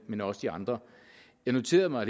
men også de andre jeg noterede mig